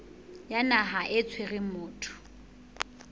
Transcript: ya naha e tshwereng motho